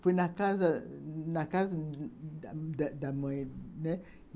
Fui na casa na casa da da mãe, né?